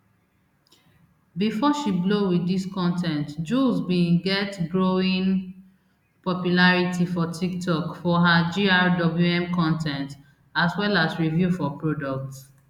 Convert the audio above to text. bifor she blow wit dis con ten t jools bin get growing popularity for tiktok for her grwm con ten t as well as review for products